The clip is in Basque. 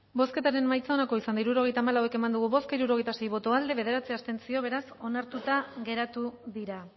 bozketaren emaitza onako izan da hirurogeita hamabost eman dugu bozka hirurogeita sei boto aldekoa bederatzi abstentzio beraz onartuta geratu dira